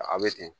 A bɛ ten